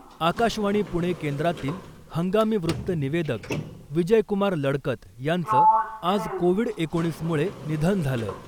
आकाशवाणी पुणे केंद्रातील हंगामी वृत्त निवेदक विजयकुमार लडकत यांचं आज कोविड एकोणीस मुळे निधन झालं .